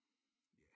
Ja